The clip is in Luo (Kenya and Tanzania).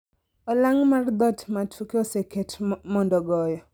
Olang' mar dhoot ma toke oseket mondo goyo